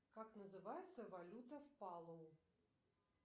как называется валюта в палоу